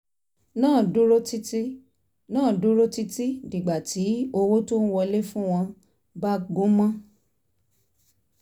náà dúró títí náà dúró títí dìgbà tí owó tó ń wọlé fún wọn bá gúmọ́